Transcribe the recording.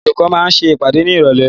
Àwọn olùkọ́ máa ṣe ìpàdé ní Ìrọ̀lẹ́.